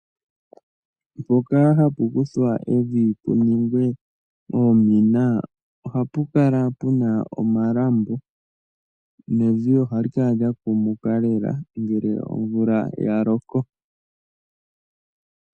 Mpoka hapu kuthwa evi pu ningwe oomina, ohapu kala puna omalambo, nevi ohali kala lya kumuka lela ngele omvula ya loko.